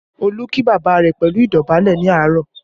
Olú kí bàbá rẹ̀ pẹ̀lú idobale ní àárọ̀